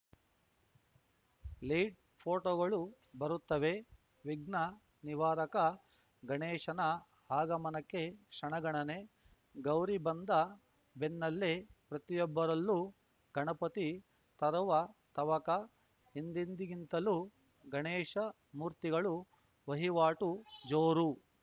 lead ಫೋಟೋಗಳು ಬರುತ್ತವೆ ವಿಘ್ನ ನಿವಾರಕ ಗಣೇಶನ ಆಗಮನಕ್ಕೆ ಕ್ಷಣಗಣನೆ ಗೌರಿ ಬಂದ ಬೆನ್ನಲ್ಲೇ ಪ್ರತಿಯೊಬ್ಬರಲ್ಲೂ ಗಣಪತಿ ತರುವ ತವಕ ಹಿಂದೆಂದಿಗಿಂತಲೂ ಗಣೇಶ ಮೂರ್ತಿಗಳು ವಹಿವಾಟು ಜೋರು